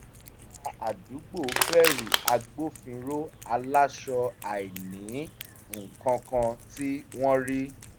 ará àdúgbò bẹ̀rù agbófinró aláṣọ àìní-nǹkankan tí wọ́n rí